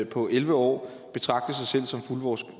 på elleve år betragte sig selv som fuldvoksne